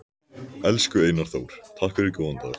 Elsku Einar Þór, takk fyrir góðan dag.